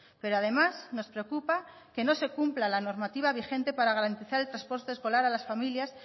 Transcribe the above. pero además nos preocupa que no se cumpla la normativa vigente para garantizar el transporte escolar a las familias